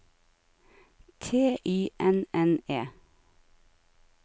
T Y N N E